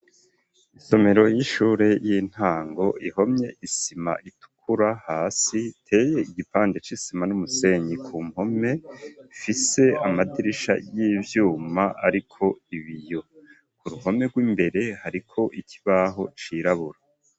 Isomero y'ishure y'intango, ihomye isima itukura hasi, iteye igipande c'isima n'umusenyi ku mpome, ifise amadirisha y'ivyuma ariko ibiyo, ku ruhome rw'imbere hariko ikibaho cirabura.